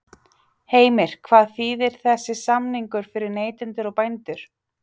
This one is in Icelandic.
Heimir: Hvað þýðir þessi samningur fyrir neytendur og bændur?